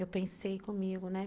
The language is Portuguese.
Eu pensei comigo, né?